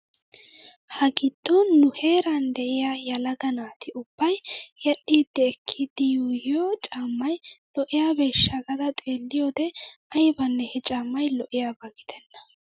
Ha giddon nu heeran de'iyaa yelaga naati ubbay yedhdhi ekkidi yuuyiyoo caammay lo'iyaabeeshsha gaada xeeliyoode aybanne he caammay lo'iyaaba gidenna.